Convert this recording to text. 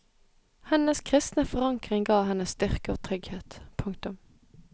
Hennes kristne forankring ga henne styrke og trygghet. punktum